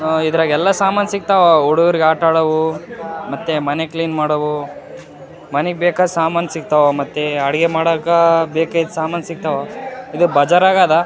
ಆಆ ಇದ್ರಾಗ ಎಲ್ಲ ಸಾಮಾನು ಸಿಗ್ತಾವ ಹುಡುಗುರಿಗಾಟಾಡಾವೂ ಮತ್ತೆ ಮನೆ ಕ್ಲೀನ್ ಮಾಡೋವು ಮನಿಗ್ ಬೇಕಾದ್ ಸಾಮಾನು ಸಿಗ್ತಾವ ಮತ್ತೆ ಅಡುಗೆ ಮಾಡೋಕ ಬೇಕಾಗಿದ್ ಸಮಾನ್ ಸಿಗ್ತಾವ ಇದು ಬಾಜರಗದ --